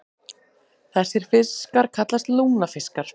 Þessir fiskar kallast lungnafiskar.